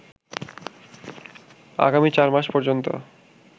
আগামী ৪ মার্চ পর্যন্ত